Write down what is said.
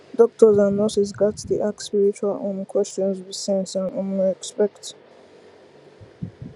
doctors and nurses gats dey ask spiritual um questions with sense and um respect